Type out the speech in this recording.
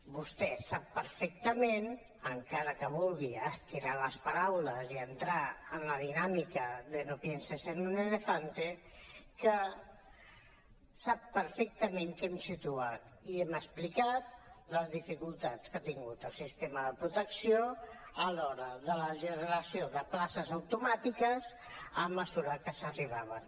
vostè sap perfectament encara que vulgui estirar les paraules i entrar en la dinàmica de no pienses en un elefante que hem situat i hem explicat les dificultats que ha tingut el sistema de protecció a l’hora de la generació de places automàtiques a mesura que arribaven